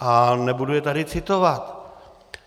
A nebudu je tady citovat.